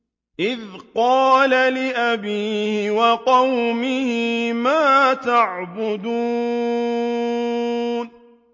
إِذْ قَالَ لِأَبِيهِ وَقَوْمِهِ مَا تَعْبُدُونَ